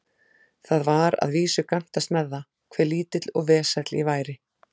Það var að vísu gantast með það, hve lítill og vesæll ég væri.